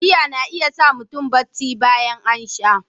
Giya na iya sa mutum barci bayan an sha.